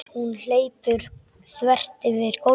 Hún hleypur þvert yfir gólfið.